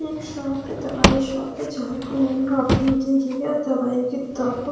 एक शॉप है दवाई शॉप है जहां दवाई की तो आपको--